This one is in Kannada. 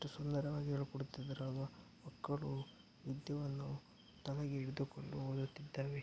ಎಷ್ಟು ಸುಂದರವಾಗಿ ಹೇಳಿಕೊಡುತ್ತಿದ್ದಾರೆ ಅಲ್ವ ಮಕ್ಕಳು ವಿದ್ಯೆಯನ್ನು ತಲೆಗೆ ಹಿಡಿದುಕೊಂಡು ಓದುತ್ತಿದ್ದಾರೆ.